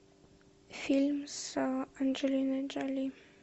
фильм с анджелиной джоли